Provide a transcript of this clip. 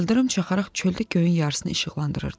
İldırım çaxaraq çöldə göyün yarısını işıqlandırırdı.